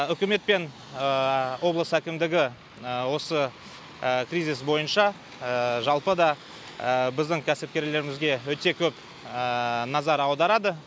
үкімет пен облыс әкімдігі осы кризис бойынша жалпы да біздің кәсіпкерлерімізге өте көп назар аударады